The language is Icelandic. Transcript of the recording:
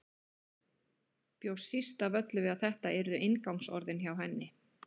Bjóst síst af öllu við að þetta yrðu inngangsorðin hjá henni.